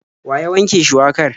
Wa ya wanke shuwakar?